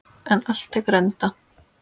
En allt tekur enda.